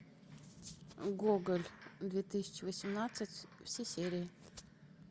гоголь две тысячи восемнадцать все серии